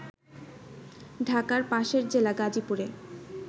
ঢাকার পাশের জেলা গাজীপুরে